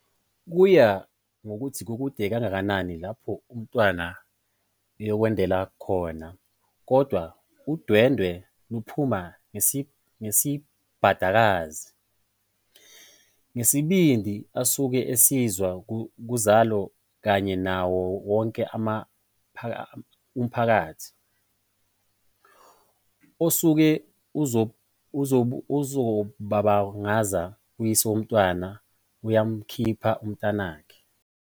Kuya ngokuthi kukude kangakanani lapho umntwana eyokwendela khona kodwa udwendwe luphuma ngesikabhadakazi. Ngesibindi asuke esizuza kuzalo kanye nawo wonke umphakathi osuke uzobabungaza, uyise womntwana uyamkhipha umntanakhe.